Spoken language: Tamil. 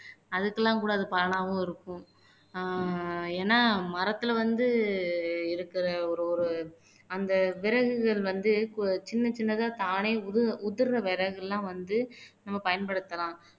அதுக்கெல்லாம் கூட அது பலனாவும் இருக்கும் ஆஹ் ஏன்னா மரத்துல வந்து இருக்குற ஒரு ஒரு அந்த விறகுகள் வந்து கு சின்ன சின்னதா தானே உதிர் உதிர்ற விறகு எல்லாம் வந்து நம்ம பயன்படுத்தலாம்